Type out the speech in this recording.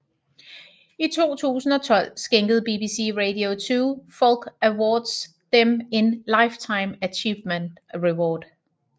I 2012 skænkede BBC Radio 2 Folk Awards dem en Lifetime Achievement Award